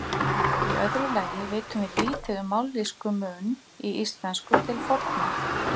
Í öðru lagi vitum við lítið um mállýskumun í íslensku til forna.